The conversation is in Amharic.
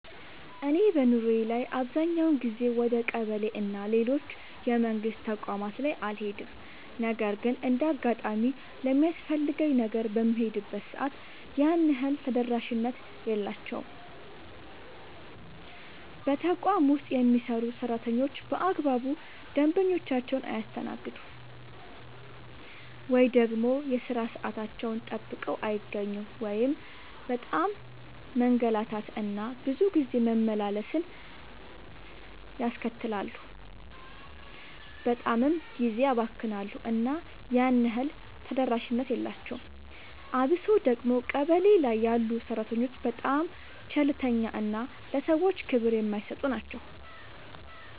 እኔ በኑሮዬ ላይ አብዛኛውን ጊዜ ወደ ቀበሌ እና ሌሎች የመንግስት ተቋማት ላይ አልሄድም ነገር ግን እንደ አጋጣሚ ለሚያስፈልገኝ ነገር በምሄድበት ሰዓት ያን ያህል ተደራሽነት የላቸውም። በተቋም ውስጥ የሚሰሩ ሰራተኞች በአግባቡ ደንበኞቻቸውን አያስተናግዱም። ወይ ደግሞ የሥራ ሰዓታቸውን ጠብቀው አይገኙም እናም በጣም መንገላታት እና ብዙ ጊዜ መመላለስን ያስከትላሉ በጣምም ጊዜ ያባክናሉ እና ያን ያህል ተደራሽነት የላቸውም። አብሶ ደግሞ ቀበሌ ላይ ያሉ ሰራተኞች በጣም ቸልተኛ እና ለሰዎች ክብር የማይሰጡ ናቸው።